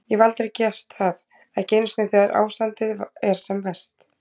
Ég hef aldrei gert það, ekki einu sinni þegar ástandið er sem verst.